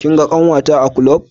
Kin ga ƙanwata a ƙlub?